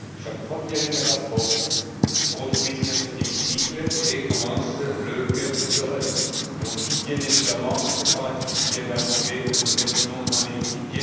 Chaque fois qu'il y a une catastrophe, on se retrouve ici, dans cet hémicycle, et commence le chœur des pleureuses où l'on dit, bien évidemment, que c'est dramatique ce qui vient d'arriver, que nous nous inclinons devant les victimes.